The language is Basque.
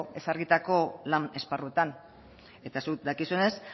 ezarritako lan esparruetan eta zuk dakizunez